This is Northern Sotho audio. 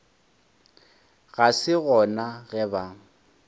ga se gona ge ba